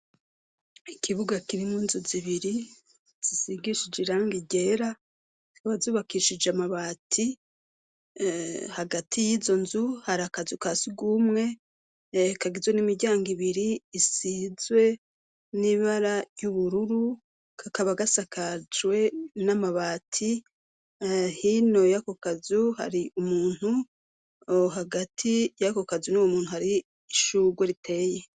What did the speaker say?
Ikibuga kirimwo inzu zibiri zisigishije irangi ryera bazubakishije amabati hagati y'izo nzu hari akazu kasugumwe kagizwe n'imiryango ibiri isizwe n'ibara ry'ubururu kakaba gasakajwe n'amabati hino yakokazu hari umuntu hagati y'ako kazu n'uwo muntu hari ishugwe riteyeho.